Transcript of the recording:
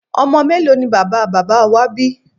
Ọmọ mélòó ni bàbá bàbá wá bí?